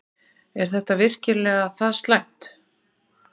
Er þetta virkilega það slæmt?